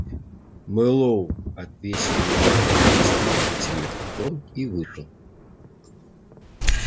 мэллоу отвесил ему иронический уважительный поклон и вышел